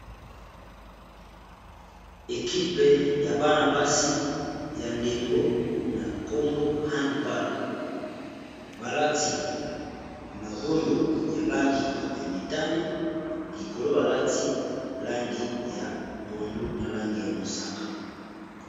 ekipe ya bana-basi ya ndembo na nkombo handball balati magondo ya langi ya mitani likolo balati langi ya pondu na langi ya mosaka